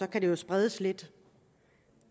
kan spredes lidt